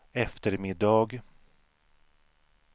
eftermiddag